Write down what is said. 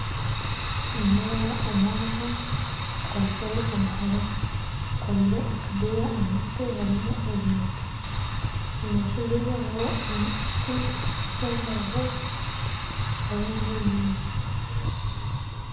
Nindeeba omwojo akwasire omuhoro ayekorire akadeya aha mutwe harimu ebintu, omu maisho ge hariho ekiti ky'embaho hariho na nebinyatsi